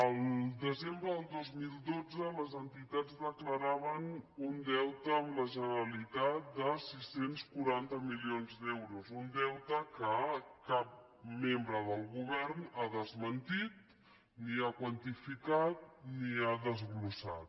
el desembre del dos mil dotze les entitats declaraven un deute amb la generalitat de sis cents i quaranta milions d’euros un deute que cap membre del govern ha desmentit ni ha quantificat ni ha des·glossat